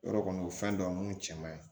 Yɔrɔ kɔni o ye fɛn dɔ minnu cɛman ye